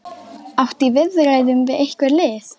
Áttu í viðræðum við einhver lið?